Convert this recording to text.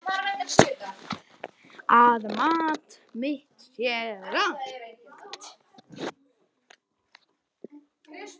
Að mat mitt sé rangt.